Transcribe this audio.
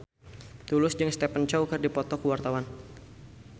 Tulus jeung Stephen Chow keur dipoto ku wartawan